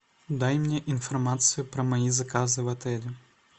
дай мне информацию про мои заказы в отеле